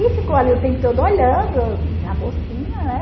E ficou ali o tempo todo olhando, já mocinha, né?